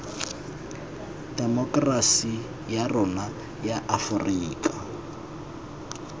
temokerasi ya rona ya aforika